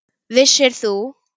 Vissir þú.